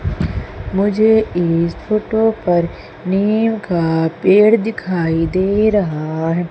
मुझे इस फोटो पर नीम का पेड़ दिखाई दे रहा है।